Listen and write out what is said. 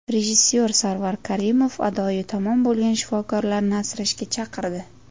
Rejissor Sarvar Karimov adoyi tamom bo‘lgan shifokorlarni asrashga chaqirdi.